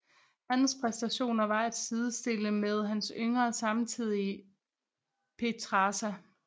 Hans præstationer var at sidestille med hans yngre samtidige Petrarca